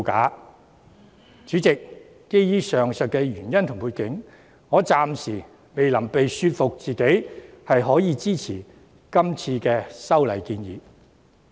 代理主席，基於上述原因和背景，我暫時未能說服自己支持今次的修訂建議。